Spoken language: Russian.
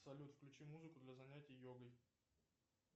салют включи музыку для занятий йогой